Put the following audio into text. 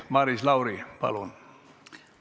Maris Lauri, palun!